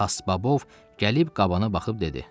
Xasbabov gəlib qabana baxıb dedi.